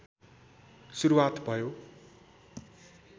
सुरुवात भयो